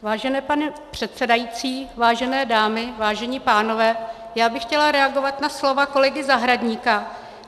Vážený pane předsedající, vážené dámy, vážení pánové, já bych chtěla reagovat na slova kolegy Zahradníka.